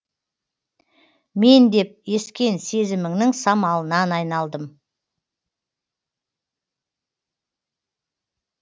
мен деп ескен сезіміңнің самалынан айналдым